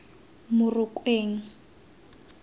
morokweng